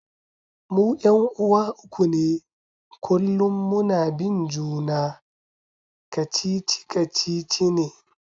Mu 'yan'uwa uku ne kullum muna bin juna, kacici-kacici ne.